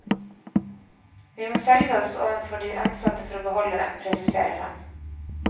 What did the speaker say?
Vi må selge oss overfor de ansatte for å beholde dem, presiserer han.